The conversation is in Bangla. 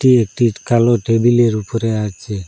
এটটি কালো টেবিলের উপরে আছে।